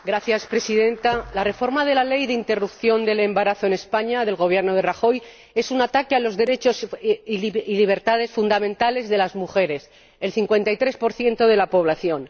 Señora Presidenta, la reforma de la ley de interrupción del embarazo en España ―del Gobierno de Rajoy― es un ataque a los derechos y libertades fundamentales de las mujeres, el 53 de la población.